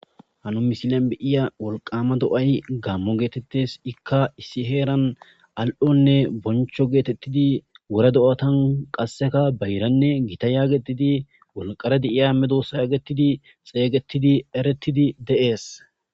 hanu misilen beyiya wolqama do7ay gammo geetettes ikka issi heeran al7onne boncho geetettidi wore do7atan qasseka bayranne gita yaagetidi wolqare de7iya me doosa yaagetidi xeeygetidi eretidi de7ees